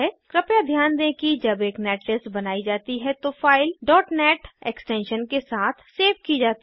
कृपया ध्यान दें कि जब एक नेटलिस्ट बनायी जाती है तो फाइल net एक्सटेंशन के साथ सेव की जाती है